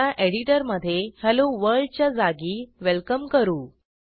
आता एडिटरमधे hello world च्या जागी वेलकम करू